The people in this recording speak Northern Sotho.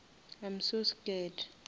i am so scared